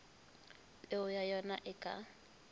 peo ya ona e ka